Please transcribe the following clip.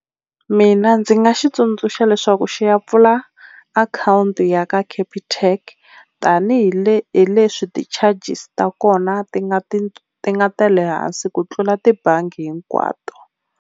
Mina ndzi nga xi tsundzuxa leswaku xi ya pfula akhawunti ya ka Capitec tanihileswi ti-charges ta kona ti nga ti ti nga ta le hansi ku tlula tibangi hinkwato.